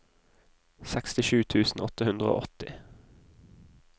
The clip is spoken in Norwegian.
sekstisju tusen åtte hundre og åtti